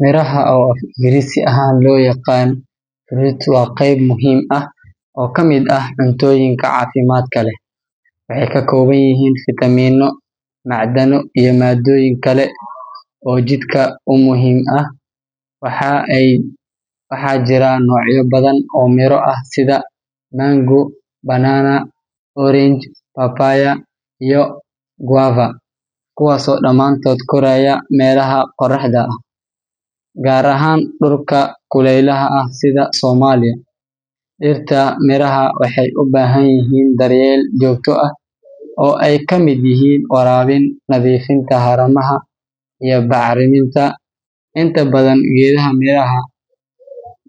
Miraha, oo af-Ingiriisi ahaan loo yaqaan fruits, waa qeyb muhiim ah oo ka mid ah cuntooyinka caafimaadka leh. Waxay ka kooban yihiin fiitamiinno, macdano iyo maaddooyin kale oo jidhka u muhiim ah. Waxaa jira noocyo badan oo miro ah sida mango, banana, orange, papaya, iyo guava, kuwaasoo dhammaantood koraya meelaha qorraxda leh, gaar ahaan dhulka kuleylaha ah sida Soomaaliya. Dhirta miraha waxay u baahan yihiin daryeel joogto ah, oo ay ka mid yihiin waraabin, nadiifinta haramaha, iyo bacriminta. Inta badan geedaha miraha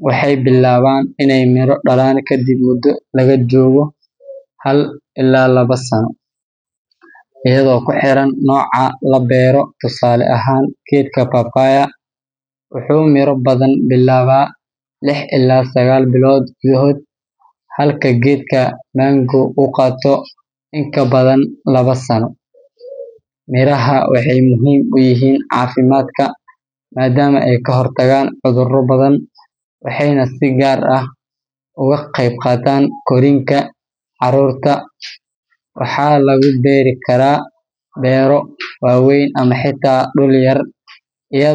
waxay bilaabaan inay miro dhalaan kadib muddo laga joogo hal ilaa laba sano, iyadoo ku xiran nooca la beero. Tusaale ahaan, geedka papaya wuxuu miro bilaabaa lix ilaa sagaal bilood gudahood, halka geedka mango uu qaato in ka badan laba sano. Miraha waxay muhiim u yihiin caafimaadka maadaama ay ka hortagaan cudurro badan, waxayna si gaar ah uga qayb qaataan korriinka carruurta. Waxaa lagu beeri karaa beero waaweyn ama xitaa dhul yar, iyadoo.